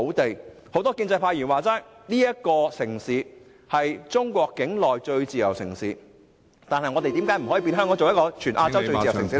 正如很多建制派議員所說，香港是中國境內最自由的城市，但我們為何不可以把香港......